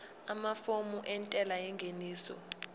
amafomu entela yengeniso